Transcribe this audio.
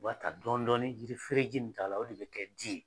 O b'a ta dɔɔni dɔɔni yiri fereji min t'a la o de bɛ kɛ di ye.